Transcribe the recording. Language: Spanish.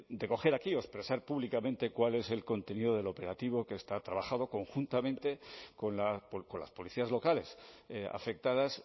de coger aquí o expresar públicamente cuál es el contenido del operativo que está trabajado conjuntamente con las policías locales afectadas